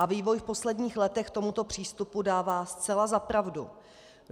A vývoj v posledních letech tomuto přístupu dává zcela za pravdu.